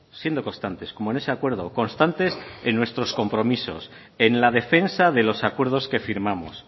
siendo constantes como en ese acuerdo constantes en nuestros compromisos en la defensa de los acuerdos que firmamos